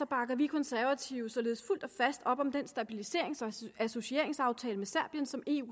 bakker vi konservative således fuldt og fast op om den stabiliserings og associeringsaftale med serbien som eu